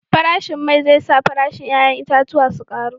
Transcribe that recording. Farashin mai zai sa farashin 'ya'yan itatuwan su karu